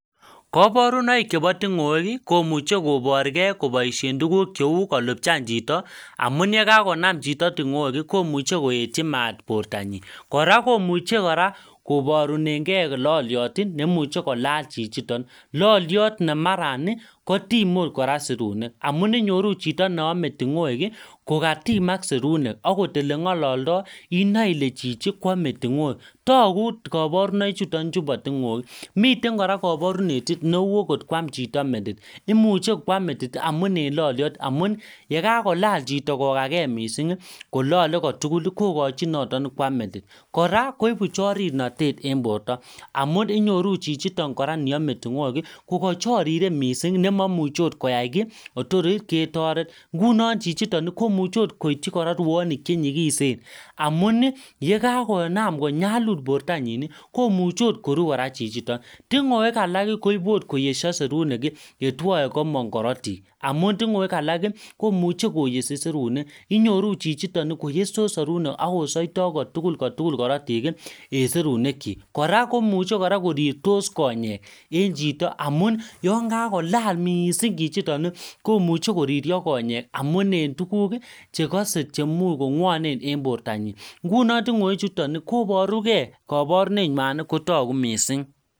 Kabarunoik chebo tingoek komuche koborge koboisien tuguk cheu kolupchan chito amun yekakonam chito tingoek komuche koetyi mat bortanyin. Kora komuche kora kobarunenge loliot nemuche kolal chichiton. Loliot ne marakotime otkora serunek, amun inyoru chito neame tingoek kokatimak serunek agot olengaloldo inoe chichi kole ametingoek. Tagu kabarunoichuto bo tingoek. Miten kora kabarunet neu ogot kwam chito metit. Imuche kwam metit amun en loliot amun yekakolal chito kokake mising kolale kotugul kokochin noton kwam metit. Kora koibu chorirnotet en borto amun inyoru chichiton kora niame tingoek ko kachariren mising ne mamuche otkoyai kiy kotor ketoret. Ingunon chichiton komuche ot koityi rwonik che nyikisen amun yekakonam konyalul bortanyin, komuche otkoru kora chiton. Tingoek alak koibu otkoyesya serunek yetwoe komong korotik amun tingoek alak komuche koyesi serunek. Inyoru chichiton koyestos serunek ak kosoito kotugul korotik en serunekyik. Kora komuche kora korirtos konyek en chito amun yon kakolal mising chichiton komuche koririo konyek amun en tuguk chekose chemuch kongwanen en bortanyin. Ngunon tingoechuton koboruge kabarunenywan kotagu mising.